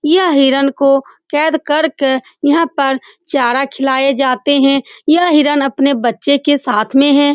यह हिरण को केद कर के यहाँ पर चारा खिलाई जाते है यह हिरण अपने बच्चे के साथ में है ।